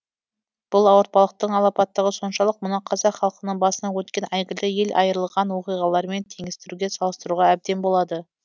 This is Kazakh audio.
бұл ауыртпалықтың алапаттығы соншалық мұны қазақ халқының басынан өткен әйгілі ел айырылған оқиғаларымен теңестіруге салыстыруға әбден болады